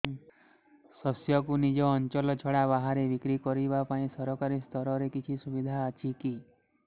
ଶସ୍ୟକୁ ନିଜ ଅଞ୍ଚଳ ଛଡା ବାହାରେ ବିକ୍ରି କରିବା ପାଇଁ ସରକାରୀ ସ୍ତରରେ କିଛି ସୁବିଧା ଅଛି କି